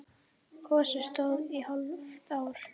Gosið stóð í hálft ár.